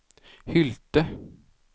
Hylte